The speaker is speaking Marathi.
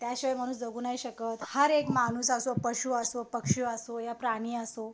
त्याशिवाय माणूस जगू नाही शकत हर एक माणूस असो पशु असो पक्षी असो या प्राणी असो